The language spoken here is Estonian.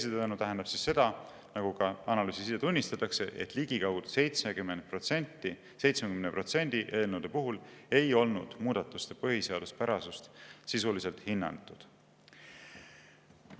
Mis teisisõnu tähendab seda, nagu ka analüüsis tunnistatakse, et ligikaudu 70% eelnõude puhul ei olnud muudatuste põhiseaduspärasust sisuliselt hinnatud.